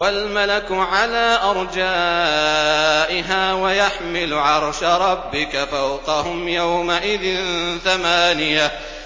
وَالْمَلَكُ عَلَىٰ أَرْجَائِهَا ۚ وَيَحْمِلُ عَرْشَ رَبِّكَ فَوْقَهُمْ يَوْمَئِذٍ ثَمَانِيَةٌ